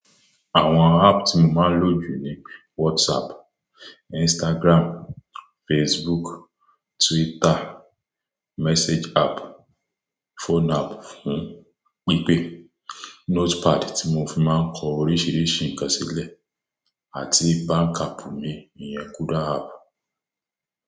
Àwọn app tí mo máa ń lò jù ni WhatsApp, Instagram, Facebook, Twitter, message app, phone app fún pípé, notepad tí mo fi máa ń kọ oríṣiríṣi ǹkan sílẹ̀ àti bank app mi, ìyẹn Kuda app.